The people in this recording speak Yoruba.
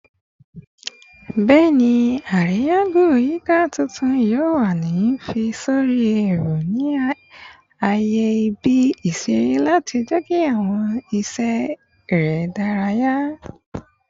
Bẹẹni, ariya-go-yika tuntun yoo wa ni fi sori ẹrọ ni aaye ibi-iṣere lati jẹki awọn iṣẹ ere idaraya